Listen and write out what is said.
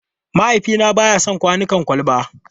Mahaifina ba ya son kwanukan kwalba.